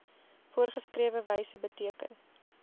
voorgeskrewe wyse beteken